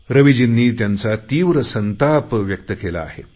रविजींनी त्यांचा तीव्र संताप व्यक्त केला आहे